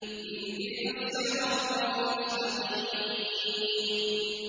اهْدِنَا الصِّرَاطَ الْمُسْتَقِيمَ